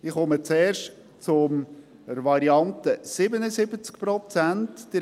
Ich komme zuerst zur Variante 77 Prozent.